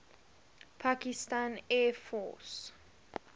pakistan air force